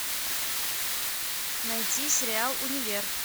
найти сериал универ